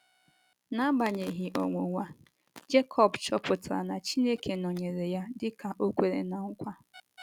N’agbanyeghị ọnwụnwa, Jekọb chọpụtara na Chineke nọnyeere ya dị ka o kwere ná nkwa.